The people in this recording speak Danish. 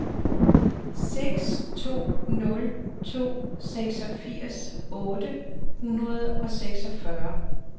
seks to nul to seksogfirs otte hundrede og seksogfyrre